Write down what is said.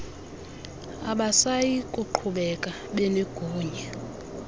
abasayi kuqhubeka benegunya